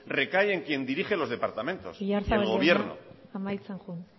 recae en quien dirige los departamentos oyarzabal jauna amaitzen joan